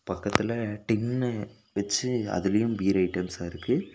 பக்கத்துல டின்னு வெச்சு அதுலயும் பீர் ஐட்டம்ஸ் இருக்கு.